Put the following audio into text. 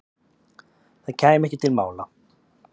Það kæmi ekki til mála.